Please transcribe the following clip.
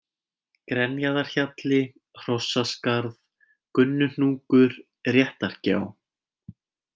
Grenjaðarhjalli, Hrossaskarð, Gunnuhnúkur, Réttargjá